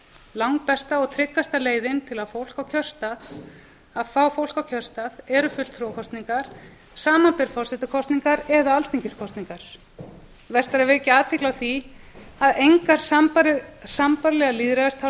langbesta og tryggasta leiðin til að fá fólk á kjörstað er fulltrúakosningar samanber forsetakosningar eða alþingiskosningar vert er vekja athygli á því að engar sambærilegar